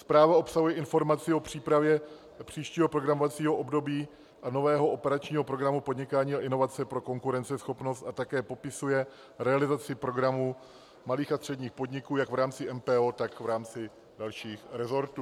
Zpráva obsahuje informaci o přípravě příštího programovacího období a nového operačního programu Podnikání a inovace pro konkurenceschopnost a také popisuje realizaci programu malých a středních podniků jak v rámci MPO, tak v rámci dalších resortů.